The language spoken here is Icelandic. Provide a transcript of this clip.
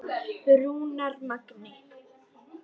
Rúnar Magni.